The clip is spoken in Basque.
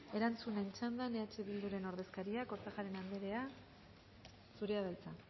erantzunen txandan eh bilduren ordezkaria kortajarena anderea zurea da hitza